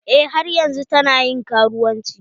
Eh har yanzun ta na ƴin karuwanci.